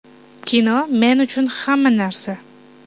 Kino men uchun hamma narsa.